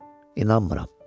İnanmıram.